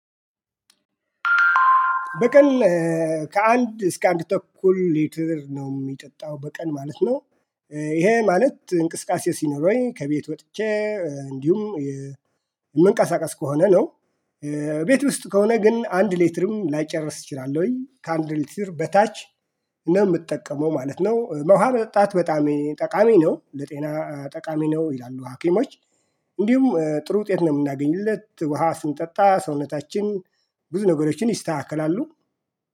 በቀን ከአንድ እስከ አንድ ተኩል ሊትር ነው የሚጠጣው በቀን ማለት ነው። ይሄ ማለት እንቅስቃሴ ሲኖረኝ ከቤት ወጥቼ እንዲሁም የመንቃሳቃስ ከሆነ ነው። ቤት ውስጥ ከሆነ ግን አንድ ሌትርም ላይጨርስ ይችላል ወይ ከአንድ ሌትር በታች ነው የምትጠቀመው ማለት ነው? ውሃ መጠጣት በጣም ጠቃሚ ነው ለጤና ጠቃሚ ነው ይላሉ ሀኪሞች። እንዲሁም ጥሩ ውጤት ነው የምናገኝለት ውሃ ስንጠጣ ሰውነታችን ብዙ ነገሮችን ይስተካከላሉ